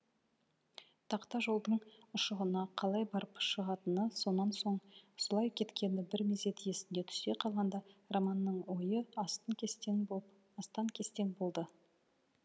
тақта жолдың ұшығына қалай барып шығатыны сонан соң сұлай кеткені бір мезет есіне түсе қалғанда романның ойы астан кестең болды